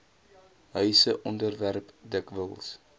huise onderwerp dikwels